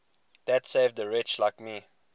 that saved a wretch like me